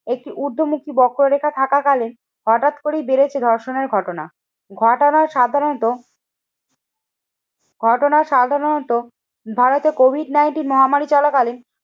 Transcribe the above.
একটি উর্ধমুখী বক্ররেখা থাকা কালীন হঠাৎ করে বেড়েছে ধর্ষণের ঘটনা। ঘটনা সাধারণত ঘটনা সাধারণত ভারতে কোভিড নাইনটিন মহামারী চলাকালীন